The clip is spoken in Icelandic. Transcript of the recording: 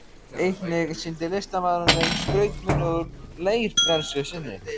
Einnig sýndi listamaðurinn þeim skrautmuni úr leirbrennslu sinni.